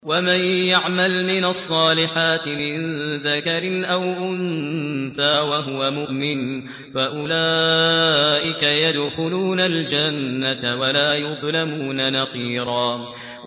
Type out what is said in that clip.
وَمَن يَعْمَلْ مِنَ الصَّالِحَاتِ مِن ذَكَرٍ أَوْ أُنثَىٰ وَهُوَ مُؤْمِنٌ فَأُولَٰئِكَ يَدْخُلُونَ الْجَنَّةَ وَلَا يُظْلَمُونَ نَقِيرًا